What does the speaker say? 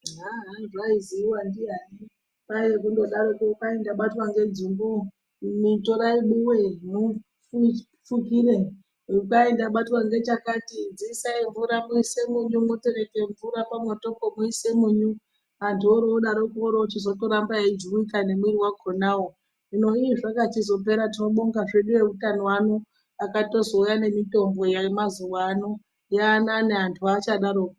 Haha zvaizivikanwa ndiani kwaiva kungodaro kuti ndabatwa nedzungu imi torai buwe mufukire kwaita ndabatwa nechakati dziisai mvura muise munyu motora mvura moisa pamoto moisa munhu antu ochi daroko ozotoramba eijuwika nemwiri wakona hino zvakachizopera tinobonga hedu vehutano ano vakazotouya nemitombo yaamane vanhu havachada roko.